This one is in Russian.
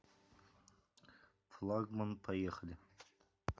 флагман поехали